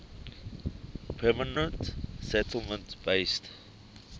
permanent settlement based